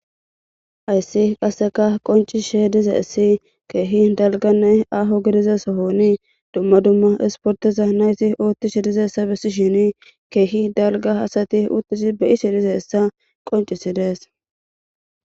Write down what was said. Ayssi qasseka qoncishe dize issi keehi dalganne aho gidiza sohoni dumma dumma isporteza nayti oottishe dize essa bessi shini keehi dalga hasati uttisi beyisi dize hessa qoncisi dees.